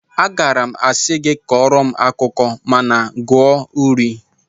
Agaara m asị gị kọọrọ m akụkọ mana gụọ uri